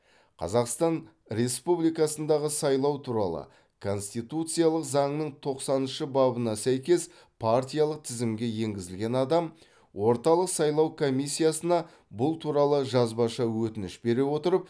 қазақстан республикасындағы сайлау туралы конституциялық заңның тоқсаныншы бабына сәйкес партиялық тізімге енгізілген адам орталық сайлау комиссиясына бұл туралы жазбаша өтініш бере отырып